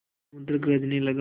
समुद्र गरजने लगा